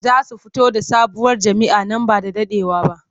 Za su fito da sabuwar jam'iyya nan ba da daɗewa ba.